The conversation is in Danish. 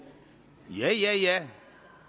ja ja ja